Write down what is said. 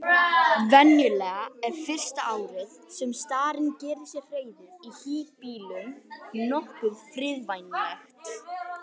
Venjulega er fyrsta árið sem starinn gerir sér hreiður í híbýlum nokkuð friðvænlegt.